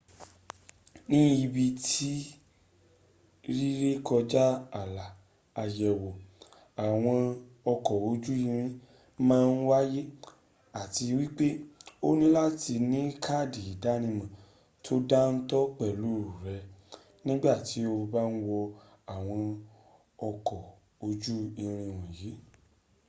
ní ibi rírékọjá ààlà ayẹ̀wò àwọn ọkọ̀ ojú-irin màa n wáyé àti wípé́ o ní láti ní káàdì ìdánímò tó dántó pẹ́lù rẹ nígbàtí o bá ń wọ àwọn ọkọ̀ ojú-irin wọ̀nyí